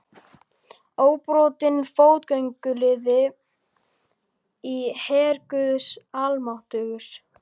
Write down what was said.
Óbrotinn fótgönguliði í her guðs almáttugs.